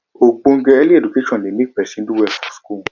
ogbonge early education de make person do well for school